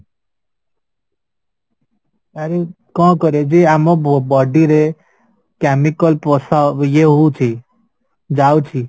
ଆରେ କଁ କରିବା ଯେ ଆମ body ରେ chemical ପ୍ରସାର ଇଏ ହଉଚି ଯାଉଛି